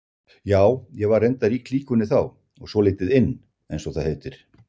Já, og ég var reyndar í klíkunni þá og svolítið inn eins og það heitir.